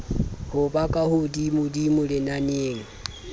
ho ba ka hodimodimo lenaneng